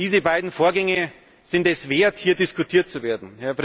Diese beiden Vorgänge sind es wert, hier diskutiert zu werden.